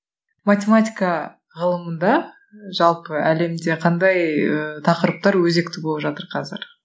математика ғылымында жалпы әлемде қандай ыыы тақырыптар өзекті болып жатыр казір